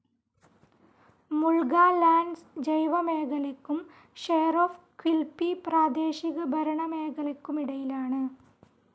Mulga Lands ജൈവമേഖലയ്ക്കും Shire of Quilpie പ്രാദേശികഭരണമേഖലയ്ക്കുമിടയിലാണ്.